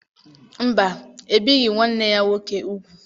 Mba, ebighị nwanne ya nwoke ugwu.